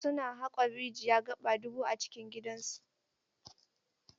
Su na haƙon rijiya gaba dubu a cikin gidan su.